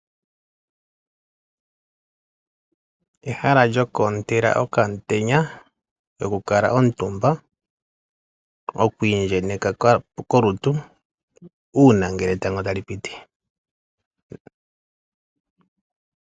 Ehala lyokwoontela okamutenya lyokukala omutumba. Okwiindjenyeka kolutu uuna ngele etango talipiti.